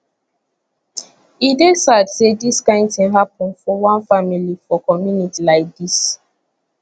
e dey sad say dis kain tin happun for one family for community like dis